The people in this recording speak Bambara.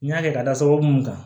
N y'a kɛ ka da soko mun kan